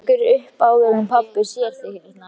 Drífum okkur upp áður en pabbi sér þig hérna